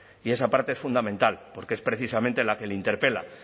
y esa parte es fundamental porque es precisamente la que le interpela